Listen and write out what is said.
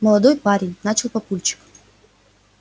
молодой парень начал папульчик